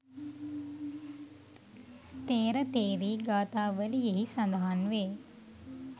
ථෙර ථෙරී ගාථාවලියෙහි සඳහන් වේ.